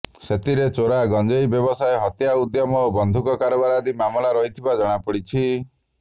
ସେଥିରେ ଚୋରା ଗଞ୍ଜେଇ ବ୍ୟବସାୟ ହତ୍ୟା ଉଦ୍ୟମ ଓ ବନ୍ଧୁକ କାରବାର ଆଦି ମାମଲା ରହିଥିବା ଜଣାପଡିଛି